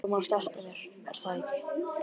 Þú manst eftir mér, er það ekki?